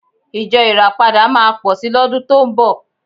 Ìjọ Ìràpadà máa pọ̀ sí lọ́dún tó ń bọ̀